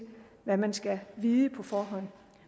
hvad man skal vide på forhånd